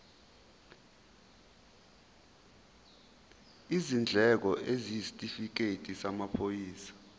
izindleko isitifikedi samaphoyisa